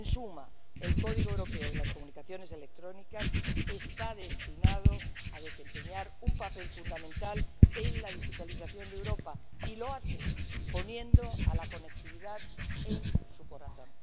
En suma, el Código Europeo de las Comunicaciones Electrónicas está destinado a desempeñar un papel fundamental en la digitalización de Europa y lo hace poniendo la conectividad en su corazón.